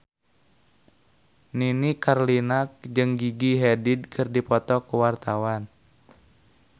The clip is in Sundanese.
Nini Carlina jeung Gigi Hadid keur dipoto ku wartawan